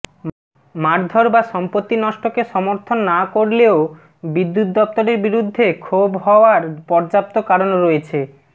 মারধর বা সম্পত্তি নষ্টকে সমর্থন না করলেও বিদ্যুৎ দফতরের বিরুদ্ধে ক্ষোভ হাওয়ার পর্যাপ্ত কারণ রয়েছে